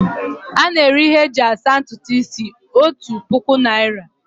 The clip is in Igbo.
A na-ere ihe a eji asa ntutu isi otu puku naira